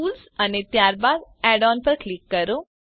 tools અને ત્યારબાદ add ons પર ક્લિક કરો